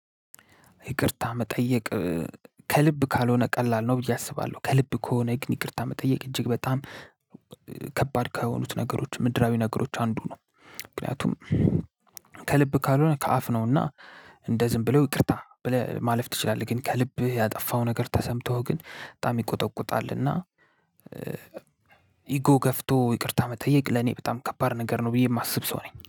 ይቅርታ መጠየቅ ከልብ ካልሆነ ቀላል ነው ብዬ አስባለሁ። ከልብ ከሆነ ይቅርታ መጠየቅ እጅግ በጣም ከባድ ከሆኑት ነገሮች ምድራዊ ነገሮች አንዱ ነው። ምክንያቱም ከልብ ካልሆነ ከአፍ ነውና። እንደ ዝም ብለው ይቅርታ ማለፍ ትችላለህ። ግን ከልብህ ያጠፋው ነገር ተሰምቶህ ግን በጣም ይቆጠቁጣል። እና ኢጎ ገፍቶ ይቅርታ መጠየቅ ለኔ በጣም ከባድ ነገር ነው። ብዬ የማስብ ሰው ነኝ